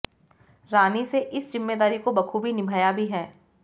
रानी से इस जिम्मेदारी को बखूबी निभाया भी है